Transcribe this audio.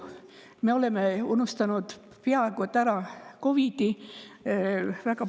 Me oleme COVID‑i peaaegu ära unustanud.